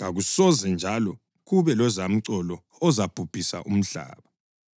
kakusoze njalo kube lozamcolo ozabhubhisa umhlaba.”